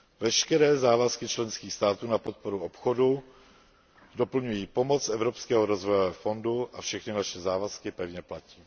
Veškeré závazky členských států na podporu obchodu doplňují pomoc z Evropského rozvojového fondu a všechny naše závazky pevně platí.